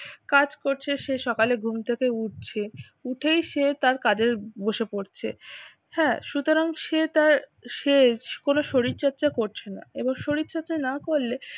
কাজ করছে, সে সকালে ঘুম থেকে উঠছে, উঠেই সে তার কাজে বসে পড়ছে হ্যাঁ সুতরাং সে তার সে কোন শরীরচর্চা করছে না এবার শরীর চর্চা না করলে